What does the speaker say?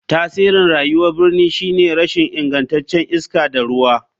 Tasirin rayuwar birni shine rashin ingancin iska da ruwa.